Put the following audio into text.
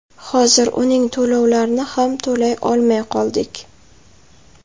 Hozir uning to‘lovlarini ham to‘lay olmay qoldik.